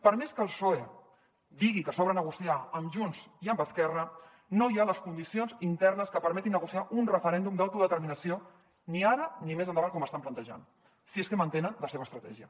per més que el psoe digui que s’obre negociar amb junts i amb esquerra no hi ha les condicions internes que permetin negociar un referèndum d’autodeterminació ni ara ni més endavant com estan plantejant si és que mantenen la seva estratègia